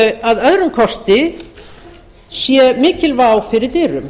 að öðrum kosti sé mikil vá fyrir dyrum